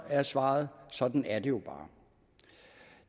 er svaret sådan er det jo bare